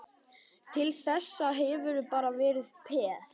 Til þessa hefurðu bara verið peð.